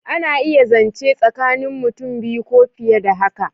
A na iya zance tsakanin mutum biyu ko fiye da haka